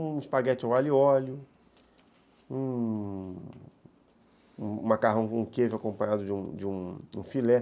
Um espaguete ao alho e óleo, um macarrão com queijo acompanhado de um de um filé.